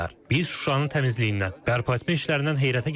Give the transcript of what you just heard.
Biz Şuşanın təmizliyindən, bərpa etmə işlərindən heyrətə gəldik.